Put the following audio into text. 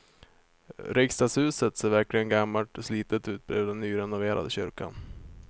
Riksdagshuset ser verkligen gammalt och slitet ut bredvid den nyrenoverade kyrkan.